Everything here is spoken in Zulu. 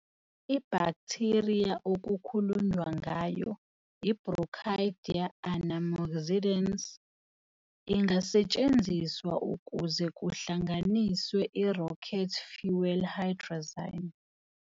Ibhaktheriya okukhulunywa ngayo, i-Brocadia anammoxidans, ingasetshenziswa ukuze kuhlanganiswe i-rocket fuel hydrazine.